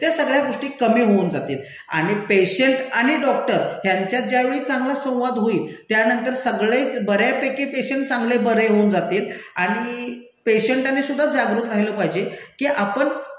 त्या सगळ्या गोष्टी कमी होऊन जातील, आणि पेशंट आणि डॉक्टर ह्यांच्यात ज्यावेळी चांगला संवाद होईल त्यांनतर सगळेच बऱ्यापैकी पेशंट चांगले बरे होऊन जातील आणि पेशंटांनीसुद्धा जागरूक राहीलं पाहिजे की आपण